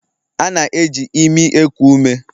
A na-eji imi eku ume